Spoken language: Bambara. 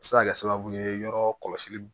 A bɛ se ka kɛ sababu ye yɔrɔ kɔlɔsi